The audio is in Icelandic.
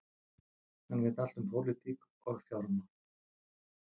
Hann veit allt um pólitík og fjármál